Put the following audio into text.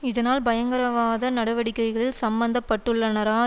இதனால் பயங்கரவாத நடவடிக்கைகளில் சம்பந்தப்பட்டுள்ளனரா